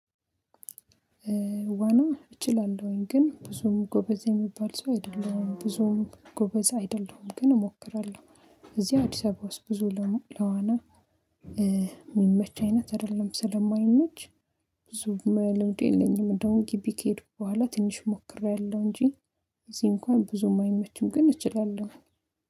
ዋና እችላለሁኝ ግን ብዙም ጎበዝ የሚባል ሰው አይደለሁም። ብዙም ጎበዝ አይደለሁም ግን እሞክራለሁ እዚህ አዲስ አበባ ውስጥ ብዙ ለዋና የሚመች አይነት አይደለም ስለማይመች ብዙ ልምዱ የለኝም እንደውም ግቢ ከሄድኩ በኋላ ትንሽ ሞክሬያለሁ እንጂ እዚህ እንኳን ብዙም አይመችም ግን እችላለሁ።